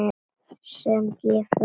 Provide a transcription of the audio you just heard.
sem gefur